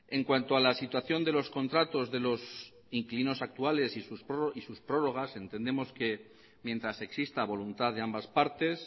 en cuanto a la situación de los contratos de los inquilinos actuales y sus prórrogas entendemos que mientras exista voluntad de ambas partes